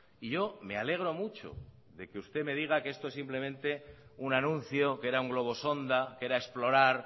y yo me alegro mucho de que usted me diga que esto es simplemente un anuncio que era un globo sonda que era explorar